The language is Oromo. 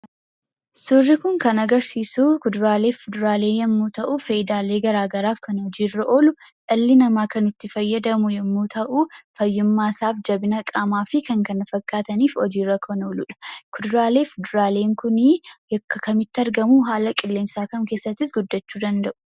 Suurri kun kan agarsiisuu Kuduraaleef Fuduraalee yommuu ta'u faayidaa garaagaraaf kan hojii irra kan oolu dhalli namaa kan itti fayyadamu yommuu ta'u fayyummaasaaf jabina qaamaafi kan kana fakkaataniif hojiirra kan ooludha. Kuduraaleef muduraaleen kunii bakka kamitti argamuu haala qilleensaa kam keessattis guddachuu danda'u?